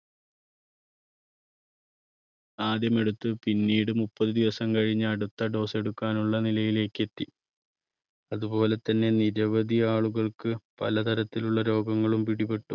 ആദ്യം എടുത്ത് പിന്നീട് മുപ്പത് ദിവസം കഴിഞ്ഞ് അടുത്ത dose എടുക്കാൻ ഉള്ള നിലയിലേക്ക് എത്തി. അതുപോലെതന്നെ നിരവധി ആളുകൾക്ക് പലതരത്തിലുള്ള രോഗങ്ങളും പിടിപെട്ടു.